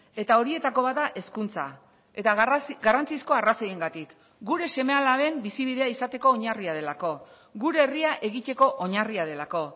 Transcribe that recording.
eta horietako bat da hezkuntza eta garrantzizko arrazoiengatik gure seme alaben bizibidea izateko oinarria delako gure herria egiteko oinarria delako